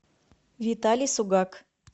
виталий сугак